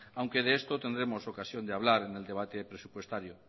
aunque de esto tendremos ocasión de hablar en el debate presupuestario